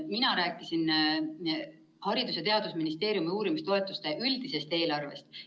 Mina rääkisin Haridus‑ ja Teadusministeeriumi uurimistoetuste üldisest eelarvest.